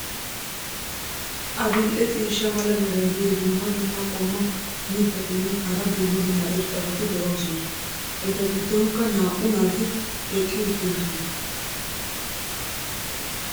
Adil'e ciishsha mala meray diyo dumma dumma qommo mitattinne hara dumma dumma irxxabati de'oosona. eta giddonkka naa'u naati eqqi uttidosona.